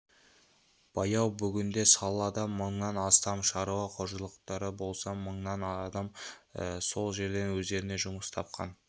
баяу бүгінде салада мыңнан астам шаруа қожалықтары болса мыңдай адам сол жерден өздеріне жұмыс тапқан